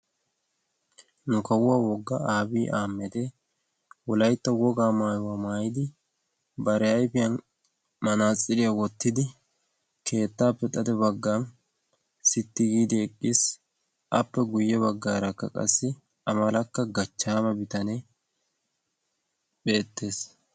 nu kawuwaa woggaa aabii ahamede wolaytta wogaa maayuwaa maayidi bare ayfiyan manaaxiriyaa wottidi keettaappe xade bagga sitti giidi eqqiis appe guyye baggaarakka qassi amalakka gachchaama bitanee beettees